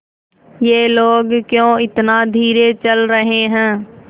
ये लोग क्यों इतना धीरे चल रहे हैं